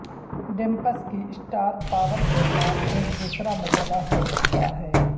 ڈیمپس کی star power کے ساتھ ایک دوسرا مسئلہ ہو سکتا ہے